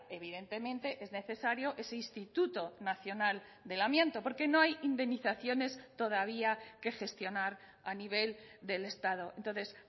evidentemente es necesario ese instituto nacional del amianto porque no hay indemnizaciones todavía que gestionar a nivel del estado entonces